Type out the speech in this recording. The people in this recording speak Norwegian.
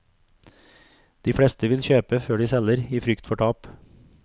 De fleste vil kjøpe før de selger i frykt for tap.